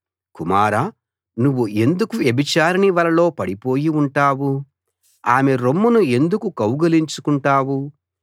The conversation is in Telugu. కుమారా నువ్వు ఎందుకు వ్యభిచారిణి వలలో పడిపోయి ఉంటావు ఆమె రొమ్మును ఎందుకు కౌగలించుకుంటావు